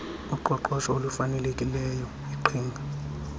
uqoqosho olufanelekileyo iqhinga